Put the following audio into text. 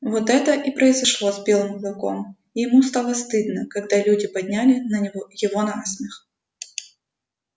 вот это и произошло с белым клыком и ему стало стыдно когда люди подняли на него его на смех